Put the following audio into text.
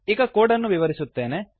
ಈಗ ಕೋಡ್ ಅನ್ನು ವಿವರಿಸುತ್ತೇನೆ